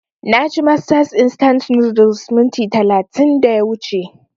Na ci masters instant noodles minti talatin da ya wuce